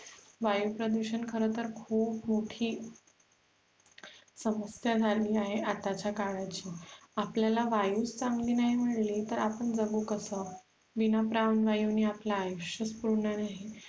वायु प्रदुषण खर तर खूप मोठी समस्या झाली आहे आतच्या काळाची आपल्याला वायु चागली नाय मिळली तर आपण जगु कस विणा प्राणवायु आपल आयुष्य सुन्न राहील